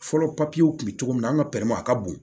Fɔlɔ papiyew tun bɛ cogo min na an ka a ka bon